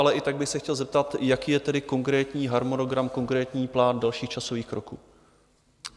Ale i tak bych se chtěl zeptat, jaký je tedy konkrétní harmonogram, konkrétní plán dalších časových kroků?